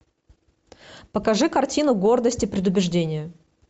покажи картину гордость и предубеждение